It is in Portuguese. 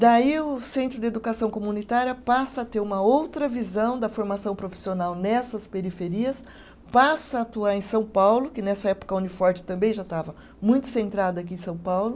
Daí o Centro de Educação Comunitária passa a ter uma outra visão da formação profissional nessas periferias, passa a atuar em São Paulo, que nessa época a Uniforte também já estava muito centrada aqui em São Paulo.